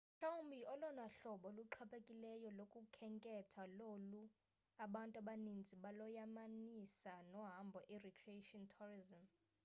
mhlawumbi olona hlobo luxhaphakileyo lokukhenketha lolu abantu abaninzi baloyamanisa nohambo i-recreation tourisim